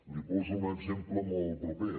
li poso un exemple molt proper